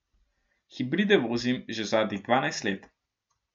Hibride vozim že zadnjih dvanajst let.